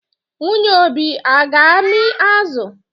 Nwunye Obi ọ ga-amị azụ?